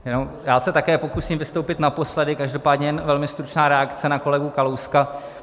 Já se také pokusím vystoupit naposledy, každopádně jen velmi stručná reakce na kolegu Kalouska.